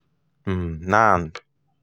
um nan um